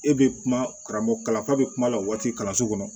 E bɛ kuma karamɔgɔ kala bɛ kuma la waati kalanso kɔnɔ